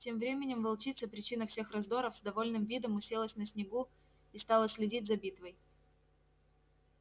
тем временем волчица причина всех раздоров с довольным видом уселась на снегу и стала следить за битвой